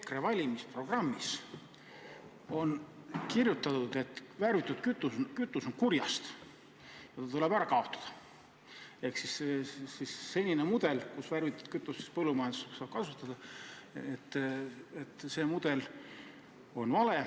EKRE valimisprogrammis on kirjutatud, et värvitud kütus on kurjast ja tuleb ära kaotada ja et selline mudel, kus värvitud kütus põllumajanduses on kasutusel, on vale.